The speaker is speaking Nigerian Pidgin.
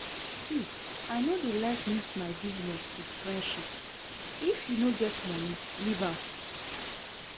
See, I no dey like mix my business with friendship, if you no get money leave am